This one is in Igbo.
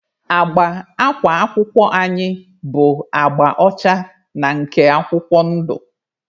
Agba akwa akwụkwọ anyị bụ agba ọcha na nke akwụkwọ ndụ.